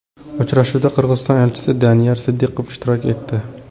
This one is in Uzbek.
Uchrashuvda Qirg‘iziston elchisi Daniyar Sidiqov ishtirok etdi.